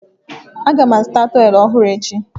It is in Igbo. Aga m azụta tọwelụ ọhụrụ echi.